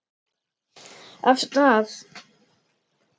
Af stað!